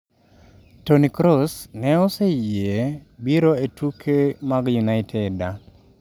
Toni Kross ne oseyie biro e tuke mag United.